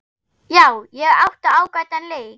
Já, ég átti ágætan leik.